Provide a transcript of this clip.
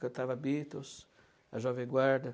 Cantava Beatles, a Jovem Guarda.